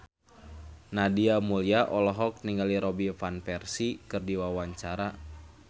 Nadia Mulya olohok ningali Robin Van Persie keur diwawancara